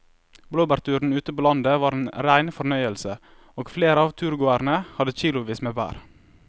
Blåbærturen ute på landet var en rein fornøyelse og flere av turgåerene hadde kilosvis med bær.